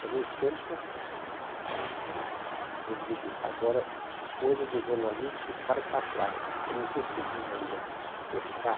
E, ao mesmo tempo, aí, vou me dedicar agora a coisas do jornalismo que ficaram para trás, que eu não consegui ainda fechar.